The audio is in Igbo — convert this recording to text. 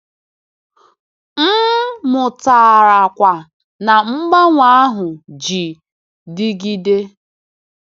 M mụtara kwa na mgbanwe ahụ ji dịgide.